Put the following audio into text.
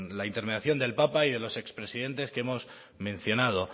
la intervención del papa y de los ex presidentes que hemos mencionado